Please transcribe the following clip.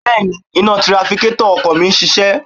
Bẹ́ẹ̀ni, iná tirafikétọ̀ ọkọ̀ mi ń ṣiṣẹ́